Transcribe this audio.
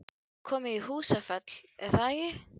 Þið komið í Húsafell, er það ekki?